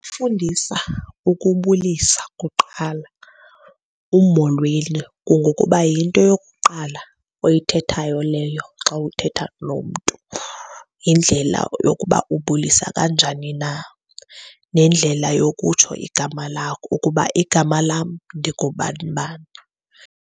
Fundisa ukubulisa kuqala, umolweni. Kungokuba yinto yokuqala oyithethayo leyo xa uthetha nomntu, yindlela yokuba ubulisa kanjani na. Nendlela yokutsho igama lakho, ukuba igama lam ndingubani bani.